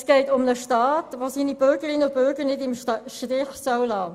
Es geht um den Staat, der seine Bürgerinnen und Bürger nicht im Stich lassen soll.